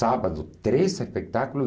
Sábado, três espetáculos.